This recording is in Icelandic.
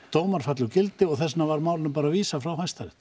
dómar falli úr gildi og þess vegna var málinu bara vísað frá Hæstarétti